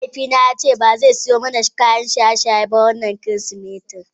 Mahaifina ya ce ba zai sayo mana kayan shaye-shaye ba a wannan Kirsimeti.